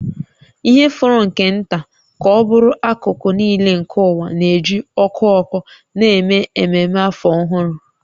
Ihe fọrọ nke nta ka ọ bụrụ akụkụ nile nke ụwa na-eji ọkụ ọkụ na-eme ememe Afọ Ọhụrụ